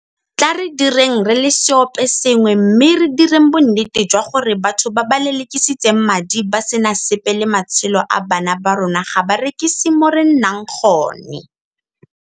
Tla re direng re le seoposengwe mme re direng bonnete jwa gore batho ba ba lelekisitseng madi ba sena sepe le matshelo a bana ba rona ga ba rekise mo re nnang gone.